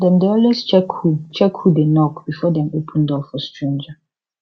dem dey always check who check who dey knock before dem open door for stranger